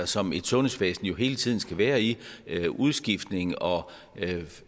som et sundhedsvæsen jo hele tiden skal være i udskiftninger og